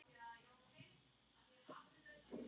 Svo urðu bréfin fleiri.